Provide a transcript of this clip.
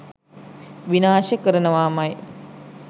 විනාශ කරනවාමයි.